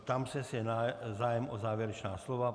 Ptám se, jestli je zájem o závěrečná slova.